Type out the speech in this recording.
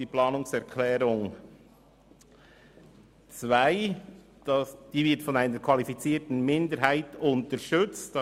Die Planungserklärung 2 wird von einer qualifizierten Minderheit unterstützt.